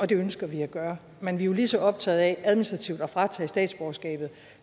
det ønsker vi at gøre men vi er lige så optaget af administrativt at fratage statsborgerskabet